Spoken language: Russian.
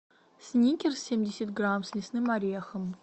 сникерс семьдесят грамм с лесным орехом